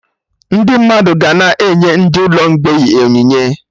Ndị mmadụ ga na-enye ndị ụlọ mgbei onyinye